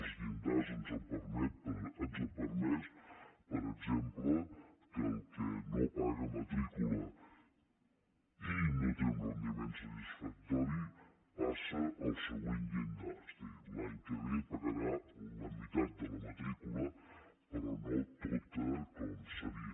els llindars ens han permès per exemple que el que no paga matrícula i no té un rendiment satisfactori passa al següent llindar és a dir l’any que ve pagarà la meitat de la matrícula però no tota com seria